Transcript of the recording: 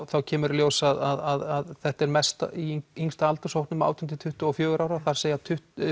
kemur í ljós að þetta er mest í yngsta aldurshópnum átján til tuttugu og fjögurra ára þar segjast